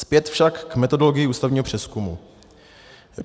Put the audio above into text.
Zpět však k metodologii ústavního přezkumu.